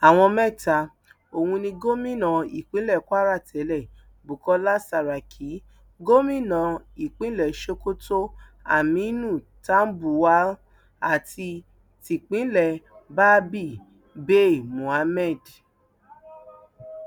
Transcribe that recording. àwọn mẹta ọhún ní gómìnà ìpínlẹ kwara tẹlẹ bukola saraki gómìnà ìpínlẹ sokoto aminu tambuwal àti tìpínlẹ babíh bay mohammed